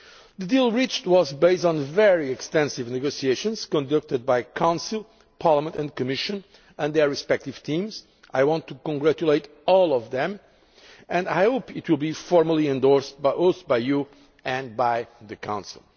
The deal reached was based on very extensive negotiations conducted by the Council, Parliament and Commission and their respective teams I want to congratulate all of them and I hope it will be formally endorsed both by you and by the Council.